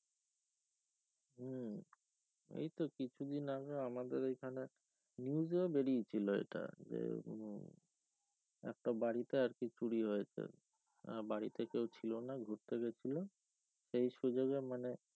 এই তো কিছুদিন আগে আমাদের এখানে news এও বেরিয়েছিল এটা যে উম একটা বাড়িতে একদিন চুরি হয়েছে বাড়িতে কেউ ছিল না ঘুরতে গেছিলো সেই সুযোগ এ মানে